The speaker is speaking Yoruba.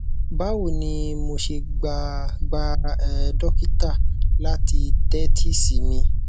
bawo ni mo ṣe gba gba er dokita lati tẹtisi mi